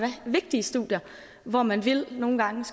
vigtige studier hvor man nogle gange